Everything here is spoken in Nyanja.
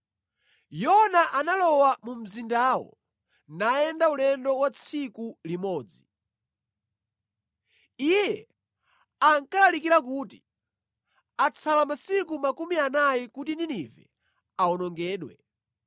Yona analowa mu mzindawo, nayenda ulendo wa tsiku limodzi. Iye ankalalikira kuti, “Atsala masiku makumi anayi kuti Ninive awonongedwe.”